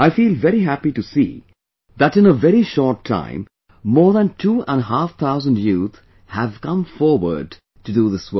I feel very happy to see that in a very short time more than two and a half thousand youth have come forward to do this work